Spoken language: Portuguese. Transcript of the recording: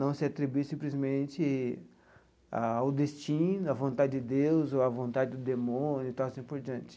Não se atribuir simplesmente ao destino, à vontade de Deus ou à vontade do demônio e tal assim por diante.